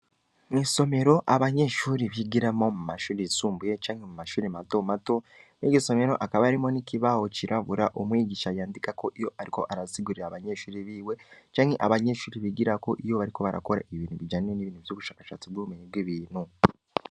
Mwisomero abanyeshuri bigiramo mu mashuri isumbuye canke mu mashuri mato mato mo'igisomero akaba arimo n'iki baho cirabura umwigisha yandika ko iyo, ariko arasigurira abanyeshuri biwe canke abanyeshuri bigira ko iyo bariko barakora i bintu bijane n'ibintu vy'ugushakashatsi bw'ubumenyi bw'ibintu.